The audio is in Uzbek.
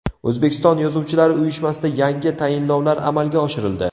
O‘zbekiston yozuvchilar uyushmasida yangi tayinlovlar amalga oshirildi.